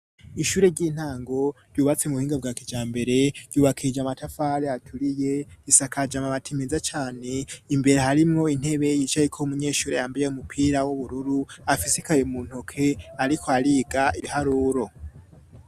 Ishuri ry'intango ryubbatsi mu buhinga bwa kijambere ryubakirja amatafale aturiye risakaja ma matimiza cyane imbere harimo intebe yicaye ko umunyeshuri yambaye umupira w'ubururu afis ikaye mu ntoke ariko ariga ibiharuro.